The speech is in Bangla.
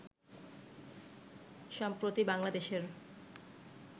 সম্প্রতি বাংলাদেশের